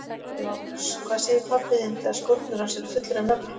LÁRUS: Hvað segir pabbi þinn þegar skórnir hans eru fullir af nöglum?